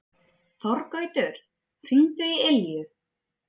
Þorgautur, hringdu í Ylju.